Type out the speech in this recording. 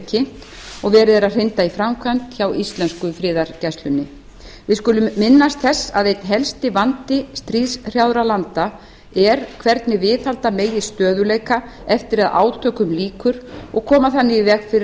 kynnt og verið er að hrinda í framkvæmd hjá íslensku friðargæslunni við skulum minnast þess að einn helsti vandi stríðshrjáðra landa er hvernig viðhalda megi stöðugleika eftir að átökum líkur og koma þannig í veg fyrir að